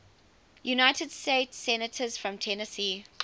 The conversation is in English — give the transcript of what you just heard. united states senators from tennessee